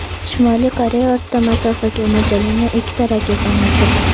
Shimoliy Koreya o‘rta masofaga mo‘ljallangan ikkita raketani uchirdi.